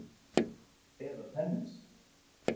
Eða tennis!